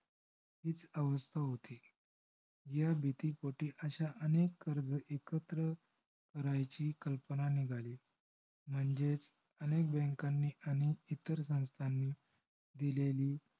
हीच अवस्था होती. ह्या भीतीपोटी अश्या अनेक कर्ज एकत्र करायची कल्पना निघाली. म्हणजेच अनेक bank नी कर्ज आणि इतर संस्थांनी दिलेली